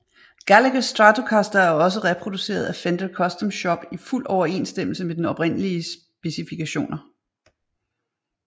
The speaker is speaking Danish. Gallaghers Stratocaster er også blevet reproduceret af Fender Custom shop i fuld overensstemmelse med den oprindeliges specifikationer